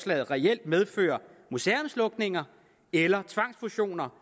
reelt medføre museumslukninger eller tvangsfusioner